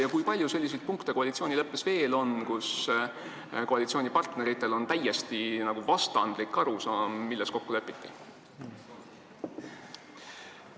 Ja kui palju selliseid punkte koalitsioonileppes veel on, mille puhul koalitsioonipartneritel on täiesti vastandlik arusaam, milles kokku lepiti?